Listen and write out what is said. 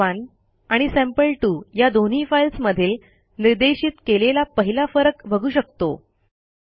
sample1 आणि sample two या दोन्ही फाईल्समधील निर्देशित केलेला पहिला फरक बघू शकतो